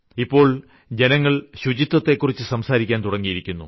ഇപ്പോൾ ജനങ്ങൾ ശുചിത്വത്തെക്കുറിച്ച് സംസാരിക്കാൻ തുടങ്ങിയിരിക്കുന്നു